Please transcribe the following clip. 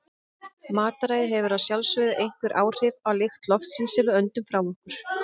Mataræði hefur að sjálfsögðu einhver áhrif á lykt loftsins sem við öndum frá okkur.